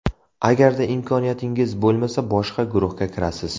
Agarda imkoniyatingiz bo‘lmasa, boshqa guruhga kirasiz.